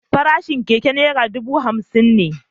Farashin keke naira dubu hamsin ne.